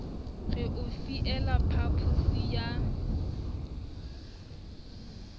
re o fiela phaposi ya